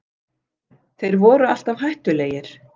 Þeir voru alltaf hættulegir